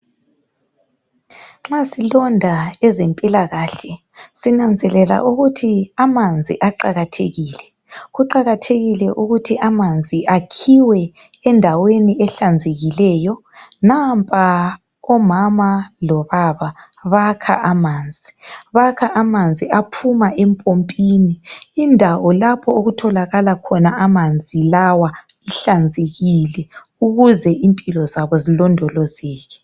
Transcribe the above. Nxa silonda ezempilakahle sinanzelela ukuthi amanzi aqakathekile. Kuqakathekile ukuthi amanzi akhiwe endaweni ehlanzekileyo. Nampa umama lobaba bakha amanzi aphuma empompini. Indawo lapho okutholakala khona amanzi lawa ihlanzekile ukuze impilo zabo zilondolozeke.